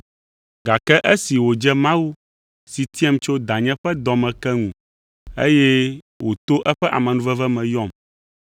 Gake esi wòdze Mawu, si tiam tso danye ƒe dɔ me ke ŋu, eye wòto eƒe amenuveve me yɔm,